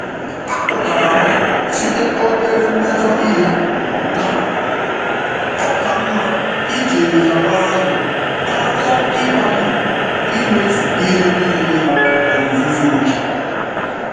Mmejọ dị mfe chetara m na ịdị nwayọọ n’onwe m dị um mkpa karịa izu oke.